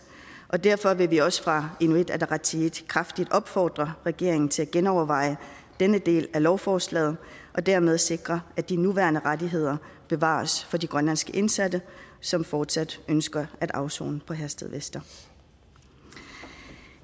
og derfor vil vi også fra inuit ataqatigiits side kraftigt opfordre regeringen til at genoverveje denne del af lovforslaget og dermed sikre at de nuværende rettigheder bevares for de grønlandske indsatte som fortsat ønsker at afsone i herstedvester